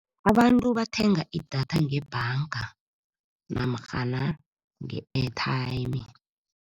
Abantu bathenga idatha ngebhanga namatjhana nge-airtime.